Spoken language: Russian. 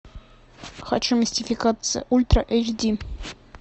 хочу мистификация ультра эйч ди